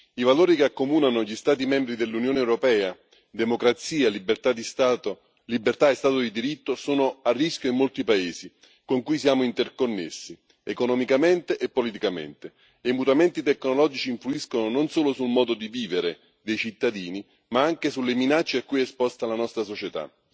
I valori che accomunano gli Stati membri dell'Unione europea democrazia, libertà e Stato di diritto sono a rischio in molti paesi con cui siamo interconnessi, economicamente e politicamente, e i mutamenti tecnologici influiscono non solo sul modo di vivere dei cittadini ma anche sulle minacce a cui è esposta la nostra società.